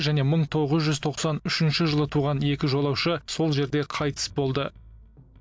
және мың тоғыз жүз тоқсан үшінші жылы туған екі жолаушы сол жерде қайтыс болды